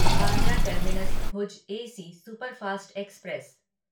Bandra terminus Bhuj AC superfast express